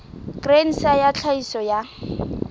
grain sa ya tlhahiso ya